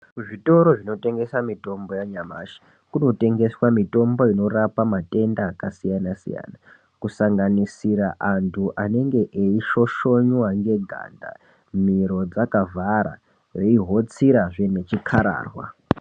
Zvitoro zvinotengesa mitombo yanyamashi kunotengeswa mitombo inorapa matenda akasiyana-siyana. Kusanganisira antu anenge eishoshonywa neganda, miro dzakavhara, veihotsirazve nechikararwa.